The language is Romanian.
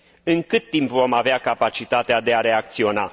În cât timp vom avea capacitatea de a reacționa?